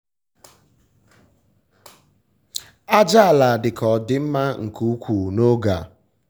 àjàala dịka o di mma nke ukwuu n'oge a.